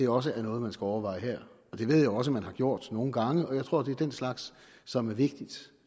også noget man skulle overveje her det ved jeg også at man har gjort nogle gange og jeg tror det er den slags som er vigtigt